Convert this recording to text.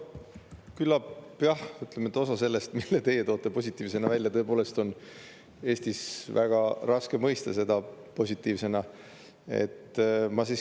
Küllap jah, ütleme, osa sellest, mida teie toote positiivsena välja, on Eestis tõepoolest väga raske positiivsena mõista.